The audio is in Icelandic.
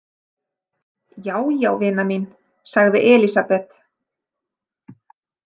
Já, já, vina mín, sagði Elísabet.